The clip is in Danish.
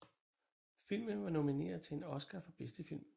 FIlmen var nomineret til en Oscar for bedste film